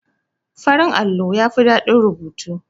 Farin allo yafi ɗadin rubutu.